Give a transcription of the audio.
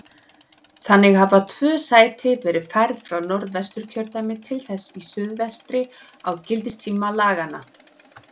Þannig hafa tvö sæti verið færð frá Norðvesturkjördæmi til þess í suðvestri á gildistíma laganna.